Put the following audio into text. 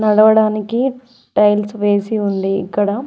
వడానికి tiles వేసి ఉంది ఇక్కడ.